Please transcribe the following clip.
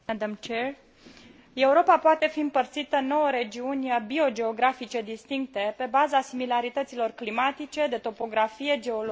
Europa poate fi împărțită în nouă regiuni biogeografice distincte, pe baza similarităților climatice, de topografie, geologie și vegetație.